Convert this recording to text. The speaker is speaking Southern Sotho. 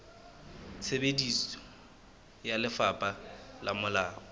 tsebiso ya lefapha le molaong